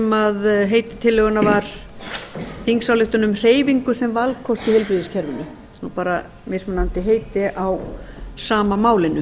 sem heiti tillögunnar var þingsályktun um hreyfingu sem valkost í heilbrigðiskerfinu bara mismunandi heiti á sama málinu